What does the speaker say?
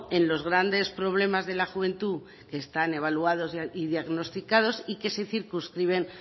en los grandes problemas de la juventud que están evaluados y diagnosticados y que se circunscriben